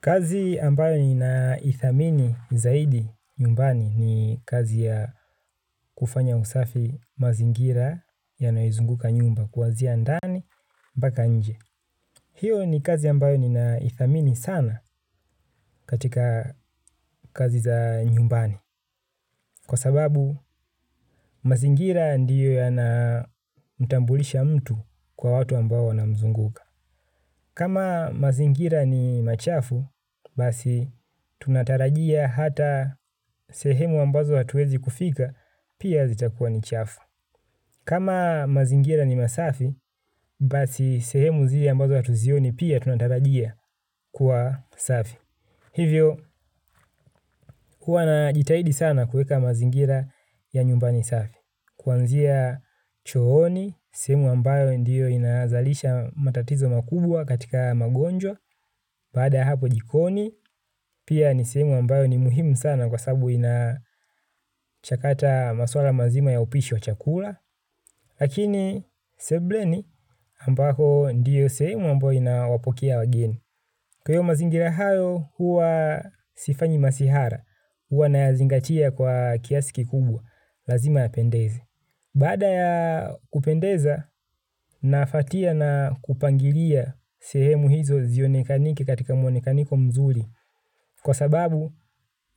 Kazi ambayo ninaithamini zaidi nyumbani ni kazi ya kufanya usafi mazingira yanayoizunguka nyumba kuwanzia ndani mpaka nje. Hiyo ni kazi ambayo ninaithamini sana katika kazi za nyumbani. Kwa sababu mazingira ndiyo yanamtambulisha mtu kwa watu ambao wanamzunguka. Kama mazingira ni machafu, basi tunatarajia hata sehemu ambazo hatuwezi kufika, pia zitakuwa ni chafu. Kama mazingira ni masafi, basi sehemu zile ambazo hatuzioni, pia tunatarajia kuwa safi. Hivyo, huwa najitahidi sana kuweka mazingira ya nyumbani safi. Kuanzia chooni, sehemu ambayo ndiyo inazalisha matatizo makubwa katika haya magonjwa. Baada hapo jikoni, pia ni sehemu ambayo ni muhimu sana kwa sababu inachakata maswala mazima ya upishi wa chakula. Lakini, sebuleni ambako ndiyo sehemu ambayo inawapokea wageni. Kwa hiyo mazingira hayo, huwa sifanyi masihara, huwa nayazingatia kwa kiasi kikubwa, lazima yapendeze. Baada ya kupendeza nafuatia na kupangilia sehemu hizo zionekanike katika muonekaniko mzuri kwa sababu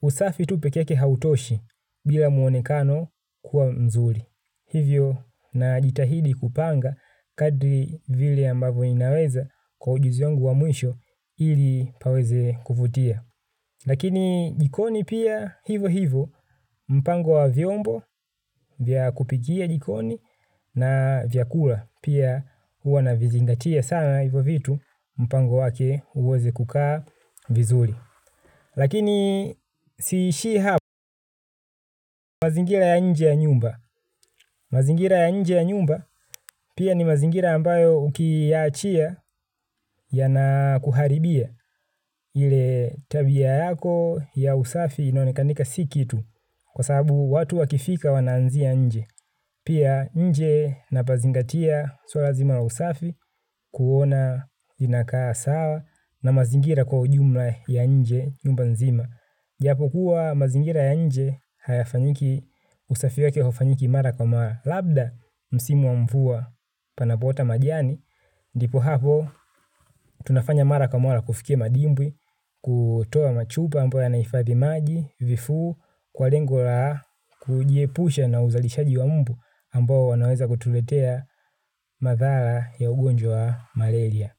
usafi tu peke yake hautoshi bila muonekano kuwa mzuri. Hivyo najitahidi kupanga kadri vile ambavyo inaweza kwa ujuzi wangu wa mwisho ili paweze kuvutia. Lakini jikoni pia hivo hivo mpango wa vyombo vya kupikia jikoni na vyakula pia huwa navizingatia sana hivyo vitu mpango wake uweze kukaa vizuri. Lakini siishii hapo mazingira ya nje ya nyumba. Mazingira ya nje ya nyumba pia ni mazingira ambayo ukiachia yanakuharibia ile tabia yako ya usafi inaonekanika si kitu. Kwa sababu watu wakifika wanaanzia nje. Pia nje napazingatia siyo lazima la usafi kuona inakaa sawa na mazingira kwa ujumla ya nje nyumba nzima. Japokuwa mazingira ya nje hayafanyiki usafi wake haufanyiki mara kwa mara. Labda, msimu wa mvua panapoota majani. Ndipo hapo, tunafanya mara kwa mara kufikia madimbwi, kutoa machupa ambao yanahifadhi maji, vifuu, kwa lengo la, kujiepusha na uzalishaji wa mbu ambao wanaweza kutuletea madhara ya ugonjwa wa malaria.